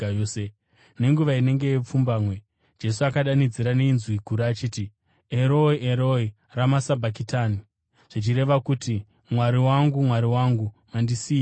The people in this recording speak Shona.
Nenguva inenge yepfumbamwe, Jesu akadanidzira nenzwi guru achiti, “Eroi, Eroi, rama sabhakitani?” zvichireva kuti, “Mwari wangu! Mwari wangu, mandisiyireiko?”